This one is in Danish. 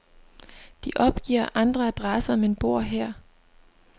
De opgiver andre adresser, men bor her.